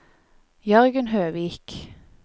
Jørgen Høvik